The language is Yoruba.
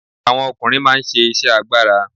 Àwọn ọkùnrin máa ń ṣe iṣẹ́ agbára.